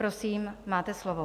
Prosím, máte slovo.